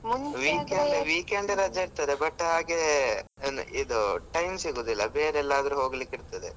ಆದ್ರೆ weekend, weekend ರಜೆ ಇರ್ತದೆ ಆದ್ರೆ but ಹಾಗೆ ಇದು time ಸಿಗುದಿಲ್ಲ ಬೇರೆ ಎಲ್ಲಿ ಆದ್ರು ಹೋಗ್ಲಿಕ್ಕೆ ಇರ್ತದೆ.